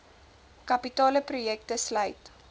kapitale projekte sluit